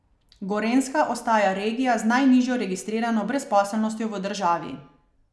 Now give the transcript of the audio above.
Gorenjska ostaja regija z najnižjo registrirano brezposelnostjo v državi.